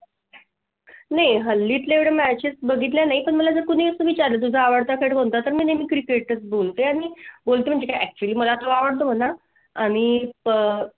नाही हल्ली एवढा matches बघितले नाही. पण मला जर कुणी विचारलं तुझा आवडता खेड कोणता तर मी नेहमी Cricket बोलते आणि बोलतो म्हणजे actually मला तो आवडतो मला आणि